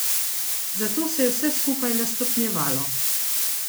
Zato se je vse skupaj le stopnjevalo.